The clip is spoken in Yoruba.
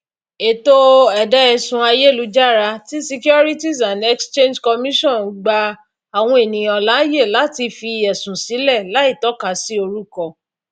ètò ẹdáẹsùn ayélujára ti securities and exchange commission gba àwọn ènìyàn láàyè láti fi ẹsùn sílẹ láìtọkasi orúkọ